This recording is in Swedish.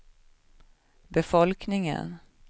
befolkningen